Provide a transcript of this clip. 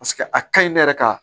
Paseke a ka ɲi ne yɛrɛ ka